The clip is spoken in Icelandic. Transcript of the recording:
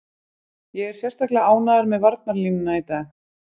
Ég er sérstaklega ánægður með varnarlínuna í dag.